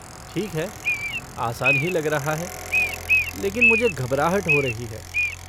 ठीक है, आसान ही लग रहा है, लेकिन मुझे घबराहट हो रही है।